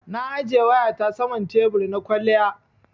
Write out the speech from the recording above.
Na ajiye wayata saman tebur na kwaliya.